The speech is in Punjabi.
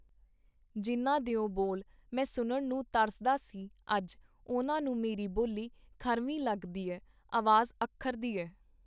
ਜਿੰਨ੍ਹਾਂ ਦਿਓ ਬੋਲ ਮੈ ਸੁਣਨ ਨੂੰ ਤਰਸਦਾ ਸੀ, ਅੱਜ ਉਹਨਾਂ ਨੂੰ ਮੇਰੀ ਬੋਲੀ ਖੱਰਵ੍ਹੀ ਲੱਗਦੀ ਏ , ਆਵਾਜ਼ ਅੱਖਰਦੀ ਏ .